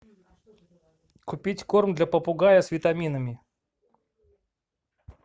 купить корм для попугая с витаминами